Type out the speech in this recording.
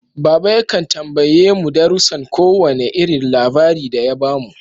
Baba yakan tambaye mu darusan ko wane irin labari da ya bamu.